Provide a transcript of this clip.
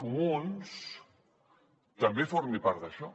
comuns també formi part d’això